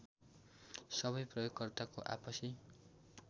सबै प्रयोगकर्ताको आपसी